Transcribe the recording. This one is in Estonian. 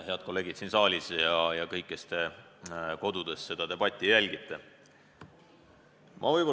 Head kolleegid siin saalis ja kõik, kes te kodudes seda debatti jälgite!